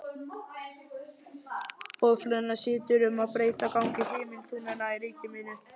Boðflennan situr um að breyta gangi himintunglanna í ríki mínu.